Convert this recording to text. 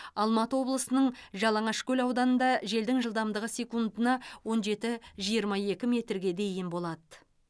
алматы облысының жалаңашкөл ауданында желдің жылдамдығы секундына он жеті жиырма екі метрге дейін болады